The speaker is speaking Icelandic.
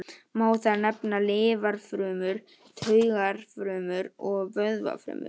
Má þar nefna lifrarfrumur, taugafrumur og vöðvafrumur.